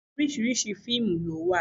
Oríṣiríṣi fíìmù ló wà.